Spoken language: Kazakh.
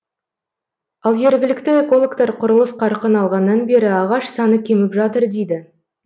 ал жергілікті экологтар құрылыс қарқын алғаннан бері ағаш саны кеміп жатыр дейді